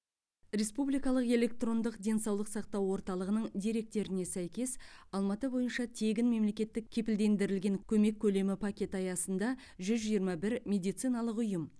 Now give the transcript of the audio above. республикалық электрондық денсаулық сақтау орталығының деректеріне сәйкес алматы бойынша тегін мемлекеттік кепілдендірілген көмек көлемі пакеті аясында жүз жиырма бір медициналық ұйым